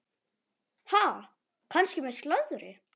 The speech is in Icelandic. Ha, kannski með slöri?